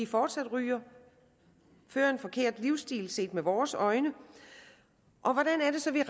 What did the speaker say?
fortsat ryger og har en forkert livsstil set med vores øjne og hvordan er det så vi